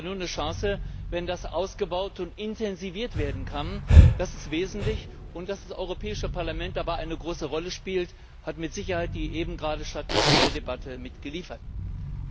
Wir haben aber nur eine Chance, wenn das ausgebaut und intensiviert werden kann. Das ist wesentlich. Und dass das Europäische Parlament dabei eine große Rolle spielt, hat mit Sicherheit die hier eben stattgefundene Debatte gezeigt.